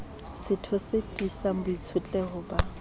setho e tiisang boitshetleho ba